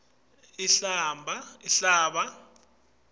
inhlaba